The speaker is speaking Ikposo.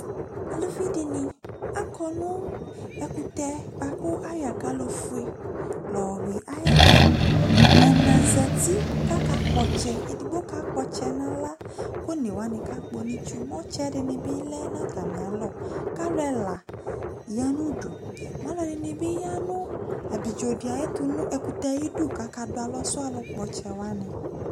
Aluvi dɩnɩ, akɔ nʋ ɛkʋtɛ bʋa kʋ ayɔ akalofue la yɔyʋɩ ayɛtʋ Ɛna zati kʋ akakpɔ ɔtsɛ Edigbo kakpɔ ɔtsɛ yɛ nʋ aɣla kʋ one wanɩ kakpɔ nʋ itsu Mɛ ɔtsɛ dɩnɩ bɩ lɛ nʋ atamɩalɔ kʋ alʋ ɛla ya nʋ udu Mɛ alʋɛdɩnɩ bɩ ya nʋ abidzo dɩ ayɛtʋ nʋ ɛkʋtɛ yɛ ayidu kʋ akadʋ alɔsʋ alʋkpɔ ɔtsɛ wanɩ